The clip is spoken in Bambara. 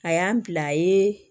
A y'an bila ye